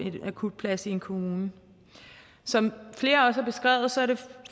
en akutplads i en kommune som flere også